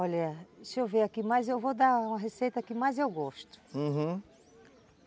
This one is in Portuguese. Olha, deixa eu ver aqui, mas eu vou dar uma receita que mais eu gosto, uhum.